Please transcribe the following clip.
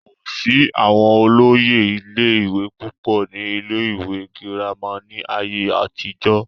kò sí àwọn olóyè ilé ìwé púpọ̀ ní ilé ìwé girama ní ayé àtijọ́